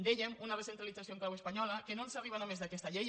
dèiem una recentralització en clau espanyola que no ens arriba només d’aquesta llei